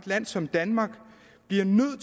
land som danmark bliver nødt